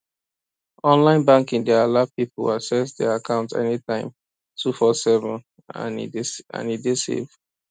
online banking dey allow people access their account anytime two four seven and e dey sef e dey safe